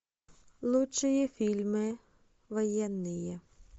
лучшие фильмы военные